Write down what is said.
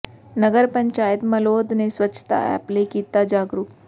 ਨਗਰ ਪੰਚਾਇਤ ਮਲੌਦ ਨੇ ਸਵੱਛਤਾ ਐਪ ਲਈ ਕੀਤਾ ਜਾਗਰੂਕ